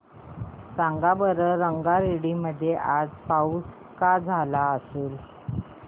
सांगा बरं रंगारेड्डी मध्ये आज पाऊस का झाला असेल